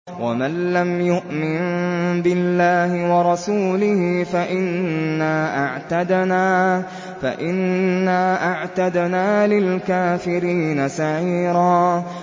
وَمَن لَّمْ يُؤْمِن بِاللَّهِ وَرَسُولِهِ فَإِنَّا أَعْتَدْنَا لِلْكَافِرِينَ سَعِيرًا